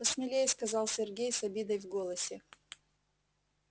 посмелее сказал сергей с обидой в голосе